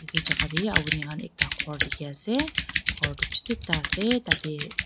itu jaka deh apuni khan ekta ghor dikhi ase ghor tu chutu ekta ase tateh.